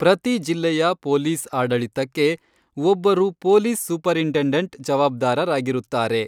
ಪ್ರತಿ ಜಿಲ್ಲೆಯ ಪೊಲೀಸ್ ಆಡಳಿತಕ್ಕೆ ಒಬ್ಬರು ಪೊಲೀಸ್ ಸೂಪರಿಂಟೆಂಡಂಟ್ ಜವಾಬ್ದಾರರಾಗಿರುತ್ತಾರೆ.